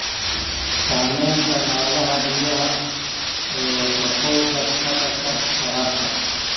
Saamaynta noolaha biyaha ee wasakhowga ka dhasha waraabka.